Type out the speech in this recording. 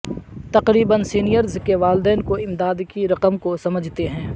تقریبا سینئرز کے والدین کو امداد کی رقم کو سمجھتے ہیں